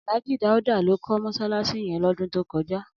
Alhaji Daudu ló kò mọṣalaṣi yèn lòdún tókòjá